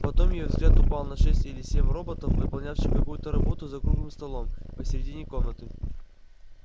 потом её взгляд упал на шесть или семь роботов выполнявших какую-то работу за круглым столом посередине комнаты